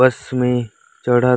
बस में चढ़त --